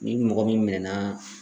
Ni mɔgɔ min mɛnna